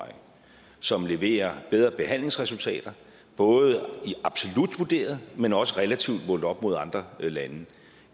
som leverer bedre behandlingsresultater både absolut vurderet men også relativt målt op mod andre lande